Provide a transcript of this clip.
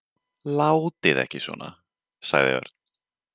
Látið ekki svona sagði Örn.